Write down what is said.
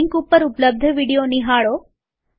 આ લિંક ઉપર ઉપલબ્ધ વિડીયો નિહાળો